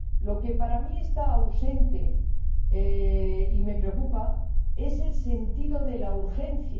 Lo que para mí está ausente, y me preocupa, es el sentido de la urgencia.